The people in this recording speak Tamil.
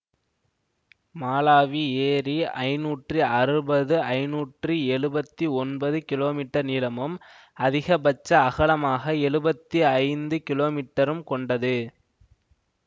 மாலாவி ஏரி ஐந்நூற்றி அறுபது ஐந்நூற்றி எழுபத்தி ஒன்பது கிமீ நீளமும் அதிகபட்ச அகலமாக எழுபத்தி ஐந்து கிலோமீட்டரும் கொண்டது